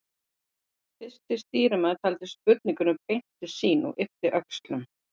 Fyrsti stýrimaður taldi spurningunni beint til sín og yppti öxlum.